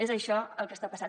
és això el que està passant